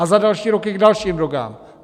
A za další roky k dalším drogám.